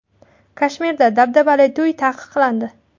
Kashmirda dabdabali to‘ylar taqiqlandi .